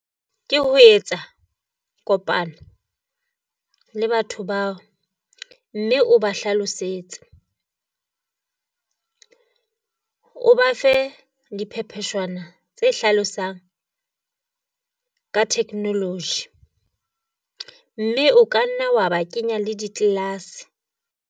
Ke ho etsa kopano le batho bao mme o ba hlalosetse. O ba fe diphepejwaonyana tse hlalosang ka technology, mme o ka nna wa ba kenya le di-class.